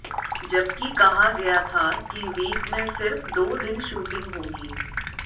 जबकि कहा गया था कि वीक में सिर्फ दो दिन शूटिंग होगी